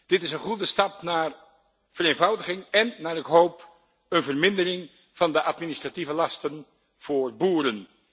Dit is een goede stap naar vereenvoudiging en, naar ik hoop, een vermindering van de administratieve lasten voor boeren.